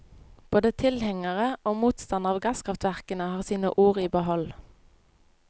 Både tilhengere og motstandere av gasskraftverkene, har sine ord i behold.